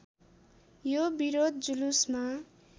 यो विरोध जुलुसमा